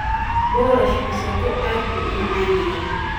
Boorash masago aad buu u macaan yahay